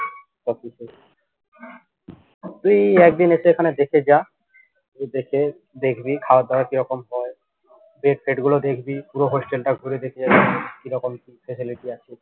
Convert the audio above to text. তুই একদিন এসে এখানে দেখে যা দেখে দেখবি খাওয়া দাওয়া কিরকম হয় bed টেড গুলো দেখবি পুরো hostel টা ঘুরে দেখলি কিরকম কি facility আছে